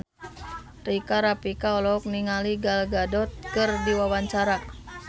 Rika Rafika olohok ningali Gal Gadot keur diwawancara